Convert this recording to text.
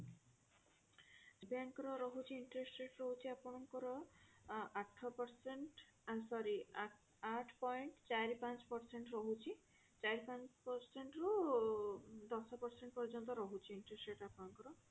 State bank ର ରହୁଛି interest rate ରହୁଛି ଆପଣଙ୍କର ଆଠ percent I'm sorry ଆଠ point ଚାରି ପାଞ୍ଚ percent ରହୁଛି ଚାରି ପାଞ୍ଚ ରୁ ଦଶ percent ପର୍ଯ୍ୟନ୍ତ ରହୁଛି interest rate ଆପଣଙ୍କର